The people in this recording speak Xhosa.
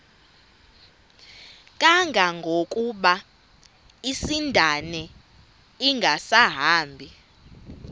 kangangokuba isindane ingasahambi